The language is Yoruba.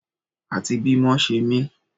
Àti bí mọ ṣe mí